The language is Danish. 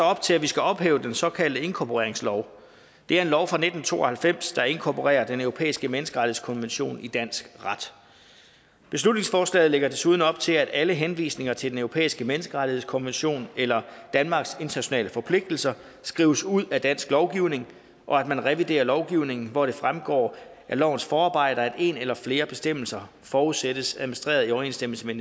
op til at vi skal ophæve den såkaldte inkorporeringslov det er en lov fra nitten to og halvfems der inkorporerer den europæiske menneskerettighedskonvention i dansk ret beslutningsforslaget lægger desuden op til at alle henvisninger til den europæiske menneskerettighedskonvention eller danmarks internationale forpligtelser skrives ud af dansk lovgivning og at man reviderer lovgivningen hvor det fremgår af lovens forarbejder at en eller flere bestemmelser forudsættes administreret i overensstemmelse med